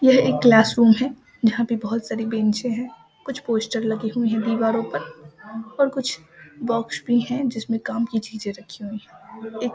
यह एक classroom है यहां पे बहुत सारी बेंचे हैं कुछ पोस्टर लगी हुई है दीवारों पर और कुछ बॉक्स भी है जिसमें काम की चीज रखी हुई है एक --